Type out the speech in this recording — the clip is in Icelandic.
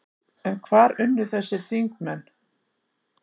En hvar unnu þessir þingmenn?